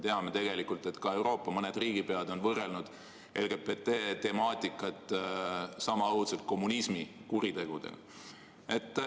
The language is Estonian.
Samas me teame, et ka Euroopa mõned riigipead on võrrelnud LGBT temaatikat sama õudselt kommunismi kuritegudega.